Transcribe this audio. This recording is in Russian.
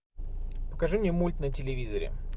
покажи мне мульт на телевизоре